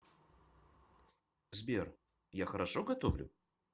сбер я хорошо готовлю